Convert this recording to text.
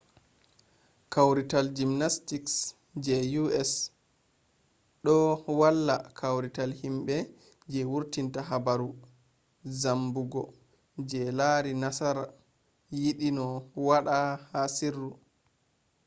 kawrital jimnastiks je usa ɗo walla kawrital himɓe je wurtinta habaru zambugo je lari nassar yiɗi no waɗa ha sirru